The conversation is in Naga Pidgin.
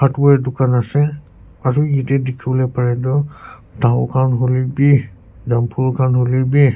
hardware dukan ase aro ede dikhi bole pare toh dao khan huilebi jambul khan huilebi.